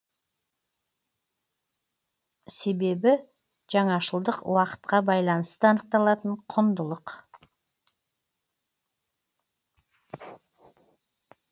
себебі жаңашылдық уақытқа байланысты анықталатын құндылық